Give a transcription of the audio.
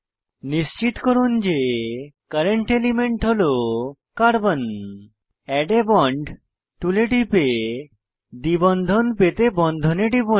নিশ্চিত করুন যে কারেন্ট এলিমেন্ট হল carbon add a bond tool টুলে টিপে দ্বিবন্ধন পেতে বন্ধনে টিপুন